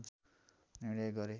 निर्णय गरे